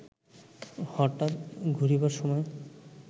হঠাৎ ঘুরিবার সময়